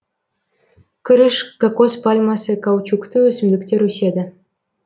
күріш кокос пальмасы каучукты өсімдіктер өседі